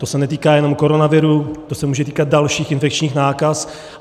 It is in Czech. To se netýká jenom koronaviru, to se může týkat dalších infekčních nákaz.